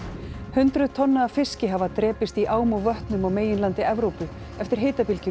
hundruð tonna af fiski hafa drepist í ám og vötnum á meginlandi Evrópu eftir